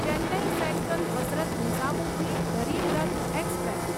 Chennai central Hazrat Nizamuddin Garib Rath express